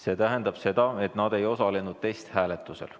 See tähendab seda, et nad ei osalenud testhääletusel.